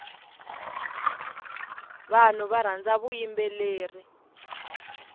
vanhu varhandza vuyimbeleri